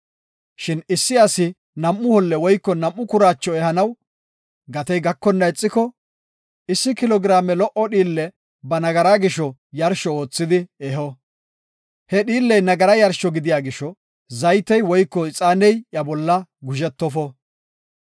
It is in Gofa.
Shin issi asi nam7u holle woyko nam7u kuraacho ehanaw gatey gakonna ixiko, issi kilo giraame lo77o dhiille ba nagaraa gisho yarsho oothidi eho. He dhiilley nagara yarsho gidiya gisho zaytey woyko ixaaney iya bolla guzhetofo.